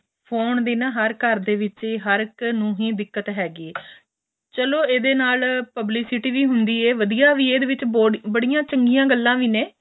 phone ਦੀ ਨਾ ਹਰ ਘਰ ਦੇ ਵਿੱਚ ਹਰਕ ਨੂੰ ਏਹੀ ਦਿੱਕਤ ਹੈਗੀ ਏ ਚਲੋ ਏਹਦੇ ਨਾਲ publicity ਵੀ ਹੁੰਦੀ ਏ ਵਧੀਆ ਵੀ ਏ ਇਹਦੇ ਵਿੱਚ ਬੜੀਆਂ ਚੰਗੀਆਂ ਗੱਲਾਂ ਵੀ ਨੇ